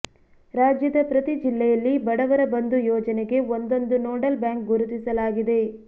ರಾಜ್ಯದ ಪ್ರತಿ ಜಿಲ್ಲೆಯಲ್ಲಿ ಬಡವರ ಬಂಧು ಯೋಜನೆಗೆ ಒಂದೊಂದು ನೋಡಲ್ ಬ್ಯಾಂಕ್ ಗುರುತಿಸಲಾಗಿದೆ